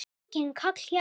Enginn kall hjá